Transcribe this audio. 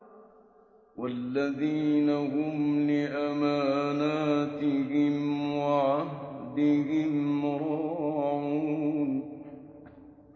وَالَّذِينَ هُمْ لِأَمَانَاتِهِمْ وَعَهْدِهِمْ رَاعُونَ